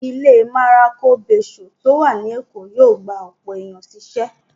Ilé Maroko Bayshore tó wà ní Èkó yóò gba ọ̀pọ̀ èèyàn sí ṣẹ́